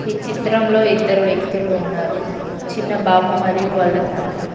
ఈ చిత్రంలో ఇద్దరు వ్యక్తులు ఉన్నారు చిన్నబాబు మరియు వాళ్ళ తండ్రి.